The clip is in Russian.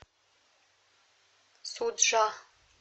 суджа